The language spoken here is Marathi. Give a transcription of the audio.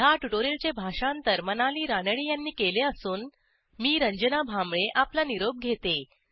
ह्या ट्युटोरियलचे भाषांतर मनाली रानडे यांनी केले असून मी रंजना भांबळे आपला निरोप घेते